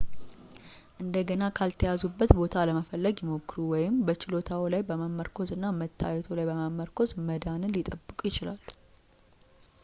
እንደገና ካልተያዙበት ቦታ ለመፈለግ ይሞክሩ ወይም በችሎታዎ ላይ በመመርኮዝ እና መታየቶ ላይ በመመርኮዝ መዳንን ሊጠብቁ ይችላሉ